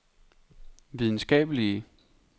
videnskabelige